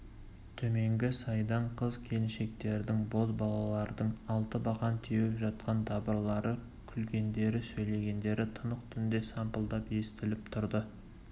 төменгі сайдан қыз-келіншектердің бозбалалардың алтыбақан теуіп жатқан дабырлары күлгендері сөйлегендері тынық түнде сампылдап естіліп тұрды